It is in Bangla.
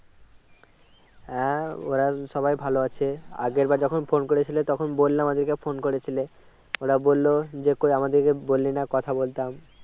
হ্যাঁ ওরা সবাই ভালো আছে আগের বার যখন ফোন করেছিলে তখন বললাম আজকে phone করেছিলে ওরা বলল যে কই আমাদের বললি না কথা বলতাম